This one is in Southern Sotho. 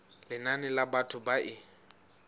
lenane la batho ba e